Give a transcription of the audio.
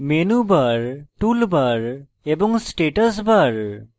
menu bar toolbar এবং status bar